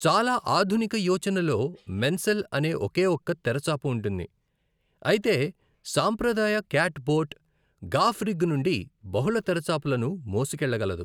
చాలా ఆధునిక యోచనలో మెన్సెల్ అనే ఒకే ఒక్క తెరచాప ఉంటుంది, అయితే, సాంప్రదాయ క్యాట్ బోట్, గాఫ్ రిగ్ నుండి బహుళ తెరచాపలను మోసుకెళ్లగలదు.